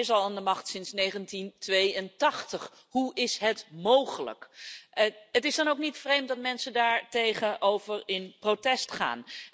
Hij is al aan de macht sinds 1982. Hoe is het mogelijk? Het is dan ook niet vreemd dat mensen daartegen in protest gaan.